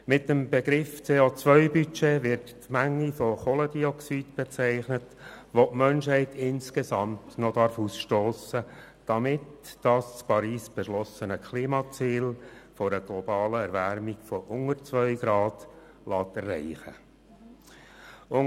Mit dem Begriff «CO-Budget» wird die Menge von Kohlendioxyd bezeichnet, die die Menschheit noch insgesamt ausstossen darf, damit das in Paris beschlossene Klimaziel einer globalen Erwärmung unter 2 Grad erreicht werden kann.